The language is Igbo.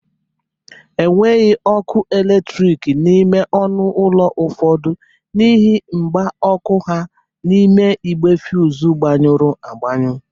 Enweghi ọkụ eletriki n'ime ọnụ ọlụ ụfọdụ n'ihe mgba ọkụ ha n'ime igbe fuz gbanyụrụ agbanyụ